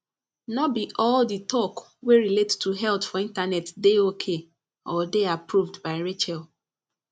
no be all the talk wey relate to health for internet dey ok or dey approved by rachel